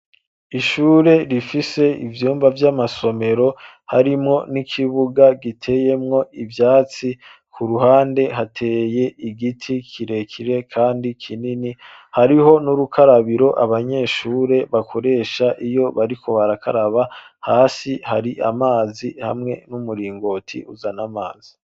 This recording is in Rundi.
Ishure, rifise ivyumba vy'amasomero, harimwo n'ikibuga, giteyemwo ivyatsi, ku ruhande, hateye igiti kirekire, kandi kinini, hariho n'urukarabiro, abanyeshure bakoresha, iyo bariko barakaraba, hasi hari amazi, hamwe n'umuringoti, uzana amazi.